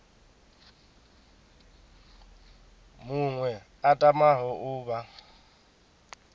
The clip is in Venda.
muṅwe a tamaho u vha